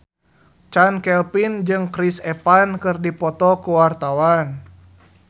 Chand Kelvin jeung Chris Evans keur dipoto ku wartawan